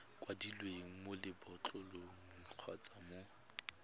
kwadilweng mo lebotlolong kgotsa mo